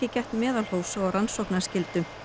gætt meðalhófs og rannsóknarskyldu